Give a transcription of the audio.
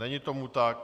Není tomu tak.